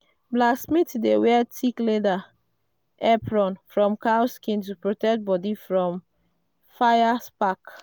blacksmith dey wear thick leather apron from cow skin to protect body from fire spark.